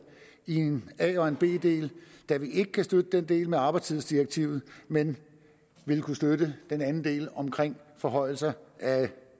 i en a og en b del da vi ikke kan støtte den del om arbejdstidsdirektivet men vil kunne støtte den anden del om forhøjelser af